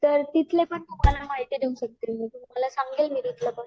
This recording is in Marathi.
तर तिथली पण माहिती मे तुम्हाला देऊ शकते तुम्हाला समजेल